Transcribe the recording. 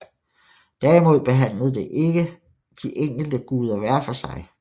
Derimod behandlede det ikke de enkelte guder hver for sig